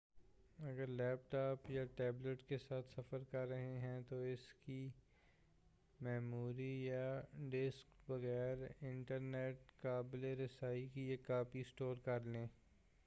اگر laptop یا tablet کے ساتھ سفر کر رہے ہیں تو، اسکی میموری یا ڈسک بغیر انٹرنیٹ قابِلِ رَسائی کی ایک کاپی سٹور کر لیں-